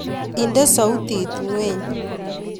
Ide soutit ngweny